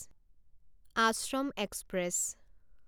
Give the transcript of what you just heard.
Ashram express